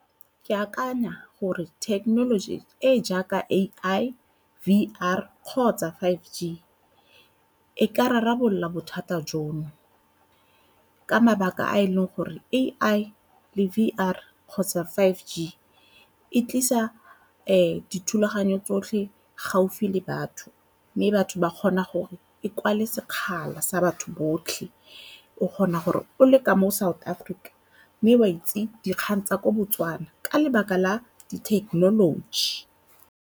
Ke akanya gore thekenoloji e jaaka A_I, V_R kgotsa five G e ka rarabolola bothata jono ka mabaka a e leng gore A_I le V_R kgotsa five G e tlisa dithulaganyo tsotlhe gaufi le batho mme batho ba kgona gore e kwale sekgala sa batho botlhe. O kgona gore o le ka mo South Africa mme o a itse dikgang tsa kwa Botswana ka lebaka la di-technology.